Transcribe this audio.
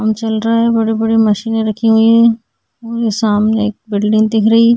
काम चल रहा है बड़ी-बड़ी मशीने रखी हुई है और ये सामने एक बिल्डिंग दिख रही है।